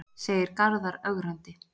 segir Garðar ögrandi.